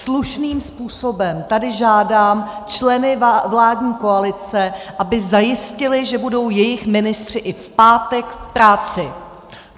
Slušným způsobem tady žádám členy vládní koalice, aby zajistili, že budou jejich ministři i v pátek v práci.